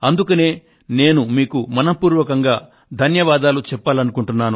అందుకనే నేను మీకు మనఃపూర్వకంగా ధన్యవాదాలు చెప్పాలనుకుంటున్నాను